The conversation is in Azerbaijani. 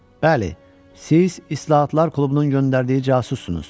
Bəli, siz İslahatlar klubunun göndərdiyi casussunuz.